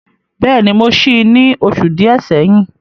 Bẹ́ẹ̀ni, mo sí í ní oṣù díẹ̀ sẹ́yìn.